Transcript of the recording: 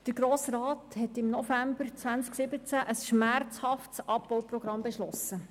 Der Grosse Rat hat im November 2017 auf Antrag der Regierung ein schmerzhaftes Abbauprogramm beschlossen.